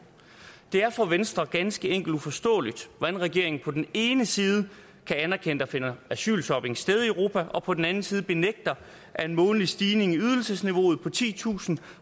det er for venstre ganske enkelt uforståeligt hvordan regeringen på den ene side kan anerkende at der finder asylshopping sted i europa og på den anden side benægter at en månedlig stigning i ydelsesniveauet på titusind